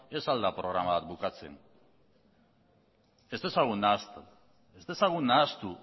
ez al da programa bat bukatzen ez dezagun nahastu ez dezagun nahastu